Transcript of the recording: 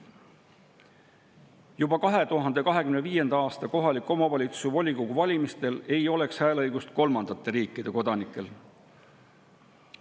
Juba 2025. aasta kohaliku omavalitsuse volikogu valimistel ei oleks kolmandate riikide kodanikel hääleõigust.